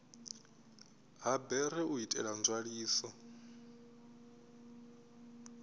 ha bere u itela nzwaliso